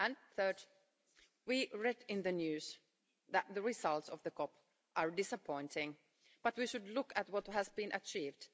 Third, we read in the news that the results of the COP are disappointing, but we should look at what has been achieved.